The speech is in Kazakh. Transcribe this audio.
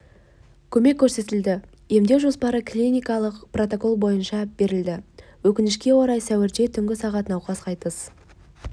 көмек көрсетілді емдеу жоспарлы клиникалық протоколдар бойынша берілді өкінішке орай сәуірде түнгі сағат науқас қайтыс